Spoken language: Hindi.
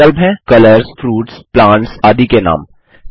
विभिन्न विकल्प हैं कलर्स फ्रूट्स प्लांट्स आदि के नाम